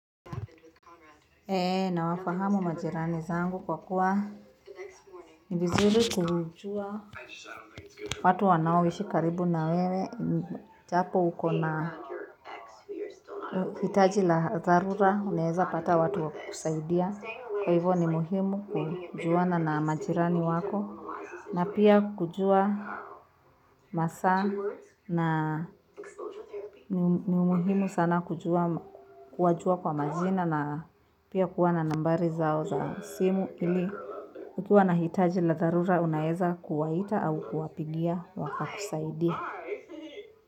Eee, nawafahamu majirani zangu kwa kuwa, ni vizuri kujua watu wanaoishi karibu na wewe, japo ukona hitaji la dharura, unaeza pata watu wa kukusaidia, kwa hivyo ni muhimu kujuana na majirani wako, na pia kujua masaa, na ni muhimu sana. Kuwajua kwa majina na pia kuwa na nambari zao za simu ili ukiwa na hitaji la dharura unaeza kuwaita au kuwapigia wa kakusaidie.